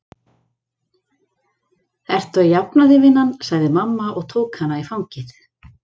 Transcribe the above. Ertu að jafna þig, vinan? sagði mamma og tók hana í fangið.